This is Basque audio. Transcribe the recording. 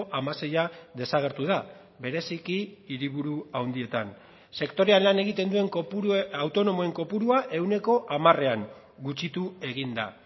hamaseia desagertu da bereziki hiriburu handietan sektorean lan egiten duen autonomoen kopurua ehuneko hamarean gutxitu egin da